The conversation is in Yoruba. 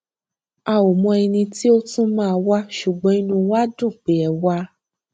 a ò mọ ẹni tí ó tún máa wá ṣùgbọn inú wa dùn pé ẹ wá